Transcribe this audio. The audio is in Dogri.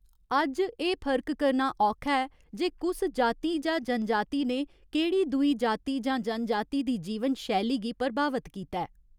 अज्ज एह् फर्क करना औखा ऐ जे कुस जाति जां जनजाति ने केह्ड़ी दूई जाति जां जनजाति दी जीवन शैली गी प्रभावत कीता।